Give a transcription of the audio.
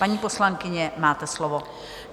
Paní poslankyně, máte slovo.